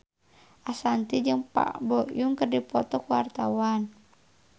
Ashanti jeung Park Bo Yung keur dipoto ku wartawan